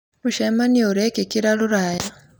Mũcemanio ũrekĩkĩra rũraya